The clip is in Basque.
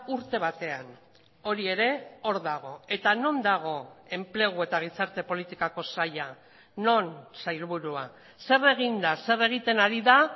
urte batean hori ere hor dago eta non dago enplegu eta gizarte politikako saila non sailburua zer egin da zer egiten ari da